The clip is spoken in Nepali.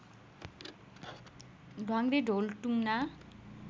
ढ्वाङग्रे ढोल टुङना